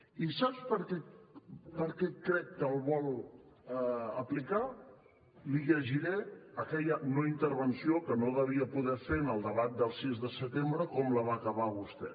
i sap per què crec que el vol aplicar li llegiré aquella no intervenció que no devia poder fer en el debat del sis de setembre com la va acabar vostè